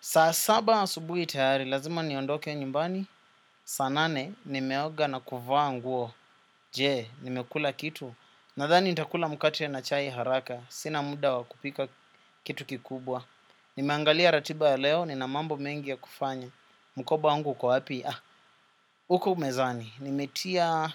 Sa saba asubui tayari, lazima niondoke nyumbani. Saa nane, nimeoga na kuvaa nguo. Je, nimekula kitu. Nadhani nitakula mukate na chai haraka. Sina muda wakupika kitu kikubwa. Nimeangalia ratiba ya leo, nina mambo mengi ya kufanya. Mkoba wangu ukowaapi? Ah, uko mezani. Nimetia